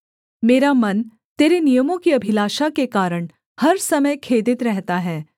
मेरा मन तेरे नियमों की अभिलाषा के कारण हर समय खेदित रहता है